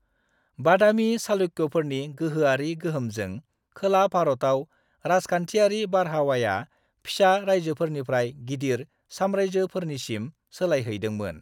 बादामी चालुक्य'फोरनि गोहोआरि गोहोमजों खोला-भारताव राजखान्थियारि बारहावाया फिसा रायजोफोरनिफ्राय गिदिर साम्रायजोफोरनिसिम सोलायहैदोंमोन।